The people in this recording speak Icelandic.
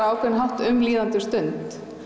ákveðinn hátt um líðandi stund